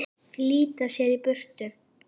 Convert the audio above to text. Flýta sér í burtu.